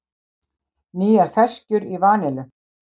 Nýjar ferskjur í vanillu